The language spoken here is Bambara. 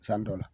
San dɔ la